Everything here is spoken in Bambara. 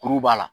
Kuru b'a la